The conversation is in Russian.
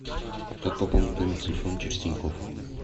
как пополнить номер телефона через тинькофф